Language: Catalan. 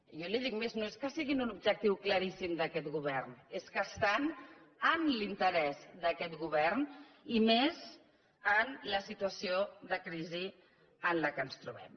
i jo li dic més no és que siguin un objectiu claríssim d’aquest govern és que estan en l’interès d’aquest govern i més en la situació de crisi en què ens trobem